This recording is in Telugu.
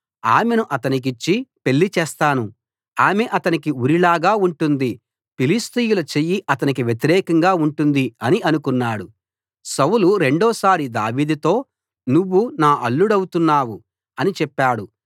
ఆమెను అతనికిచ్చి పెళ్లి చేస్తాను ఆమె అతనికి ఉరి లాగా ఉంటుంది ఫిలిష్తీయుల చెయ్యి అతనికి వ్యతిరేకంగా ఉంటుంది అని అనుకున్నాడు సౌలు రెండోసారి దావీదుతో నువ్వు నా అల్లుడౌతున్నావు అని చెప్పాడు